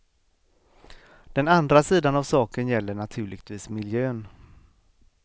Den andra sidan av saken gäller naturligtvis miljön.